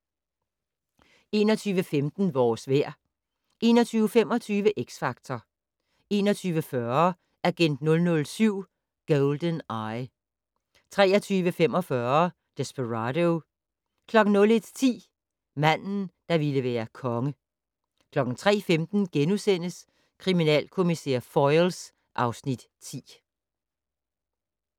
21:15: Vores vejr 21:25: X Factor 21:40: Agent 007: GoldenEye 23:45: Desperado 01:10: Manden der ville være konge 03:15: Kriminalkommissær Foyle (Afs. 10)*